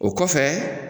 O kɔfɛ